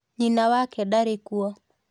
Nyina wake ndarĩ kuo